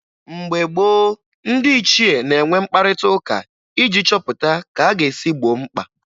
Mgbe gboo, ndị ichie na-enwe mkparịtaụka iji chọpụta ka a ga-esi gboo mkpa